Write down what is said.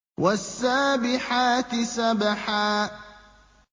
وَالسَّابِحَاتِ سَبْحًا